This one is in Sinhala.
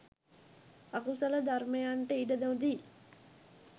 අකුසල ධර්මයන්ට ඉඩ නොදී